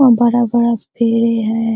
वहां बड़ा-बड़ा पेड़े है।